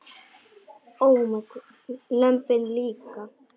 Lömbin líka.